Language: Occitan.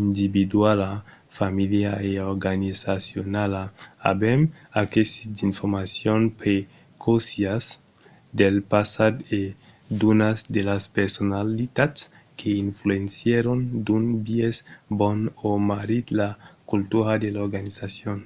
individuala familiala e organizacionala avèm aquesit d’informacions preciosas del passat e d’unas de las personalitats que influencièron d‘un biais bon o marrit la cultura de l’organizacion